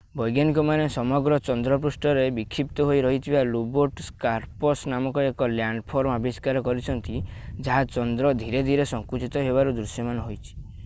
ବୈଜ୍ଞାନିକମାନେ ସମଗ୍ର ଚନ୍ଦ୍ର ପୃଷ୍ଠରେ ବିକ୍ଷିପ୍ତ ହୋଇ ରହିଥିବା ଲୋବେଟ୍ ସ୍କାର୍ପସ୍ ନାମକ ଏକ ଲ୍ୟାଣ୍ଡଫର୍ମ ଆବିଷ୍କାର କରିଛନ୍ତି ଯାହା ଚନ୍ଦ୍ର ଧୀରେ ଧୀରେ ସଙ୍କୁଚିତ ହେବାରୁ ଦୃଶ୍ୟମାନ ହୋଇଛି